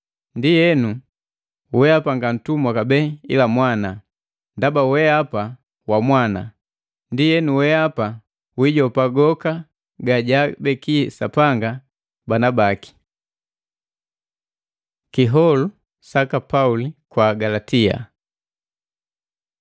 Ndienu wehapa nga guntumwa kabee ila mwana, ndaba wehapa wa mwana, ndienu weapa wiijopa goka gajaabeki Sapanga bana baki. Kiholu saka Pauli kwaka Agalatia